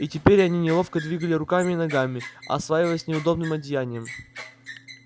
и теперь они неловко двигали руками и ногами осваиваясь неудобным одеянием